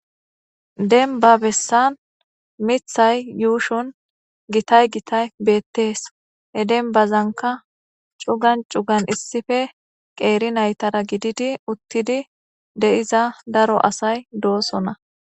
denba bessan mithay yuushon gitay gitay beettees he denbazanka cugan cugan issife qeeri naytara gididi uttidi de7iza daro asay doosona